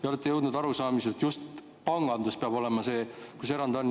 Te olete jõudnud arusaamisele, et just pangandus peab olema see, kus erand on.